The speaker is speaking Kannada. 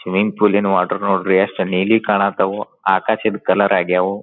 ಸ್ವಿಮ್ಮಿಂಗ್ ಫೂಲಿನ ವಾಟರ್ ನೋಡ್ರಿ ಯೆಸ್ಟ್ ನೀಲಿ ಕಾಣ ಹತಾವು ಆಕಾಶದ್ ಕಲರ್ ಆಗ್ಯವೂ.